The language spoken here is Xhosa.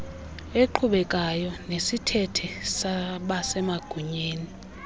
eqhubekekayo nesithethe sabasemagunyeni